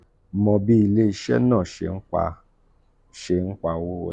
1. mo bi ile-iṣẹ naa ṣe npa ṣe npa owo wole.